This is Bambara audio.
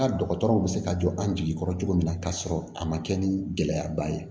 Ka dɔgɔtɔrɔw bɛ se ka jɔ an jigi kɔrɔ cogo min na ka sɔrɔ a ma kɛ ni gɛlɛyaba ye